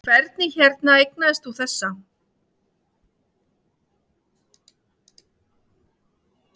Þórhildur Þorkelsdóttir: Hvernig hérna eignaðist þú þessa?